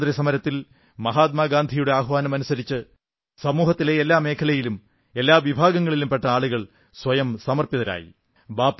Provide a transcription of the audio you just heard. സ്വാതന്ത്ര്യസമരത്തിൽ മഹാത്മാഗാന്ധിയുടെ ആഹ്വാനമനുസരിച്ച് സമൂഹത്തിലെ എല്ലാ മേഖലകളിലും എല്ലാ വിഭാഗങ്ങളിലും പെട്ട ആളുകൾ സ്വയം സമർപ്പിതരായി